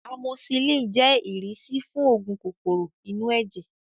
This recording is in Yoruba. Amosisilin jẹ́ ìrísí fún oògùn kòkòrò inú ẹ̀jẹ̀